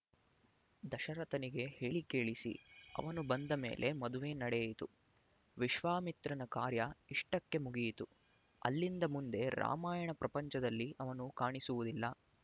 ದಶರಥನಿಗೆ ಹೇಳಿಕಳಿಸಿ ಅವನು ಬಂದ ಮೇಲೆ ಮದುವೆ ನಡೆಯಿತು ವಿಶ್ವಾಮಿತ್ರನ ಕಾರ್ಯ ಇಷ್ಟಕ್ಕೆ ಮುಗಿಯಿತು ಅಲ್ಲಿಂದ ಮುಂದೆ ರಾಮಾಯಣ ಪ್ರಪಂಚದಲ್ಲಿ ಅವನು ಕಾಣಿಸುವುದಿಲ್ಲ